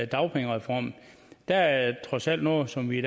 dagpengereform der er trods alt noget som vi